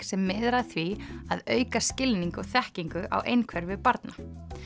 sem miðar að því að auka skilning og þekkingu á einhverfu barna